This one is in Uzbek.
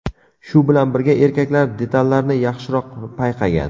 Shu bilan birga, erkaklar detallarni yaxshiroq payqagan.